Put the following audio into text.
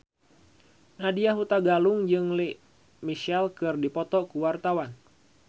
Nadya Hutagalung jeung Lea Michele keur dipoto ku wartawan